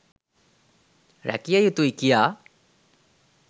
රැකිය යුතුයි කියා